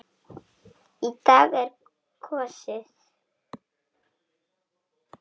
Í dag er kosið.